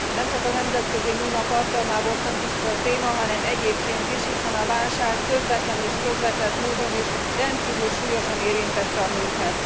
Nemcsak a nemzetközi nőnap alkalmából fontos ez a téma, hanem egyébként is, hiszen a válság közvetlen és közvetett módon is rendkívül súlyosan érintette a nőket.